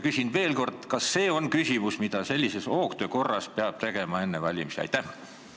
Küsin veel kord: kas see on asi, mille hoogtöö korras peab enne valimisi ära tegema?